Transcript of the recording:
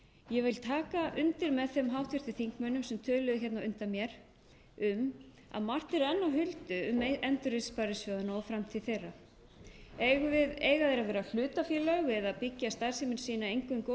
vil taka undir með þeim háttvirtum þingmönnum sem töluðu hérna á undan mér um að margt er enn á huldu um endurreisn sparisjóðanna og framtíð þeirra eiga þeir að vera hlutafélög eða byggja starfsemi sína eingöngu á